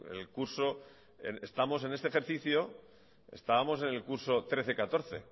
el curso estamos en este ejercicio estábamos en el curso dos mil trece dos mil catorce